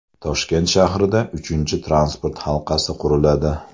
Toshkent shahrida uchinchi transport halqasi quriladi.